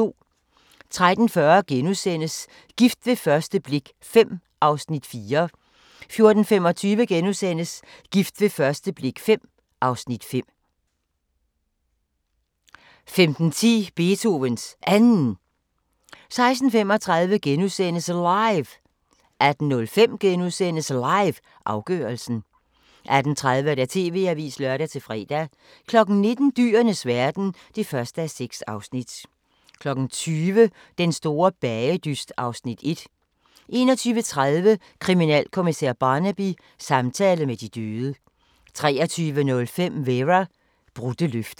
13:40: Gift ved første blik V (Afs. 4)* 14:25: Gift ved første blik V (Afs. 5)* 15:10: Beethovens Anden 16:35: LIVE * 18:05: LIVE – afgørelsen * 18:30: TV-avisen (lør-fre) 19:00: Dyrenes verden (1:6) 20:00: Den store bagedyst (Afs. 1) 21:30: Kriminalkommissær Barnaby: Samtale med de døde 23:05: Vera: Brudte løfter